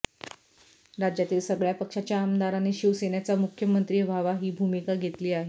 राज्यातील सगळ्या पक्षाच्या आमदारांनी शिवसेनेचा मुख्यमंत्री व्हावा ही भूमिका घेतली आहे